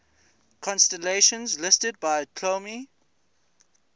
constellations listed by ptolemy